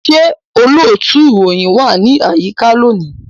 Ṣé olóòtú ìròyìn wà ní àyíká lónìí?